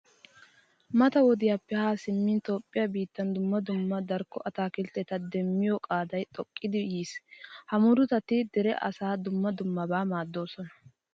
Mata wodiyappe haa simmin toophphiya biittan dumma dumma darkko ataakiltteta demmiyo qaaday xoqqiiddi yiis. Ha murutati dere asaa dumma dummaban maaddoosona.